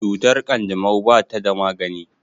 Cutar kanjamau ba ta da magani.